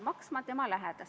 Hea juhataja!